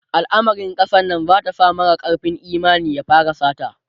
alamarin kasar Nan zata sa mara karfin Imani ya fara sata